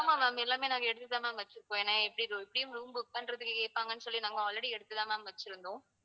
ஆமா ma'am எல்லாமே நாங்க எடுத்துதான் ma'am வச்சிருக்கோம் ஏன்னா எப்படியும் roo~ room book பண்றதுக்கு கேட்பாங்கன்னு சொல்லி நாங்க already எடுத்துதான் ma'am வச்சிருந்தோம்